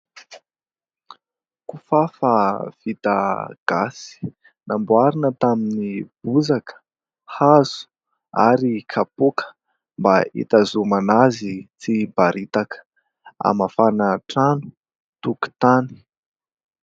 Kifafa vita gasy namboarina tamin'ny bozaka, hazo ary kapoaka mba itazonana azy tsy iparitaka. Hamafana trano tokotany.